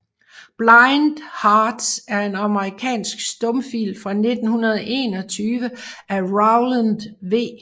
Blind Hearts er en amerikansk stumfilm fra 1921 af Rowland V